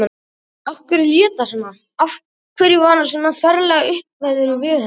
Af hverju lét hann svona, af hverju var hann svona ferlega uppveðraður við hana?